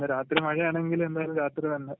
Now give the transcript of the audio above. രാത്രി മഴയാണെങ്കില് എന്തായാലും രാത്രി വരണ്ട